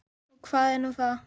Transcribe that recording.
Og hvað er nú það?